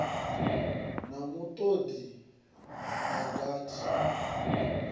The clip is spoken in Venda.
na mutoli u si gathi